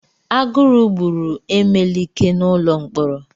Agụrụ gburu emelike n'ụlọ mkpọrọ.